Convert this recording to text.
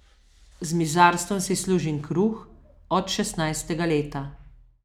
Z mizarstvom si služim kruh od šestnajstega leta.